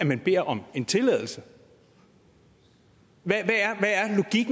man beder om en tilladelse hvad